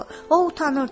O utanırdı.